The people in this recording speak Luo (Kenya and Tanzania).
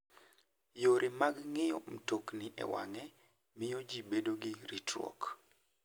Yore mag ng'iyo mtokni e wang'e miyo ji bedo gi ritruok.